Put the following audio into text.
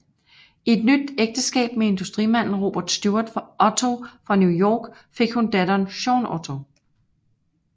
I et nyt ægteskab med industrimanden Robert Stuart Otto fra New York fik hun datteren Jean Otto